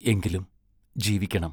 എങ്കിലും ജീവിക്കണം!